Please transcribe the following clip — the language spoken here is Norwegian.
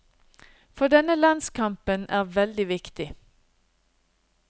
For denne landskampen er veldig viktig.